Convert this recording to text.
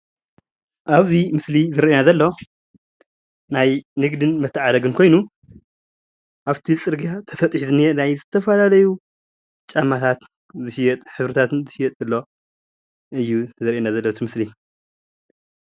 ኣብዚ ምስሊ እዚ ዝረአየና ዘሎ ናይ ንግድን መተዓዳደግን ኮይኑ ኣፍቲ ፅርግያ ተሰጢሑ ዝንአ ናይ ዝተፈላለዩ ጫማታት ዝሽየጥ ሕብርታትን ዝሽየጥ ዘሎ እዩ ዘርእየና ዘሎ እቲ ምስሊ፡፡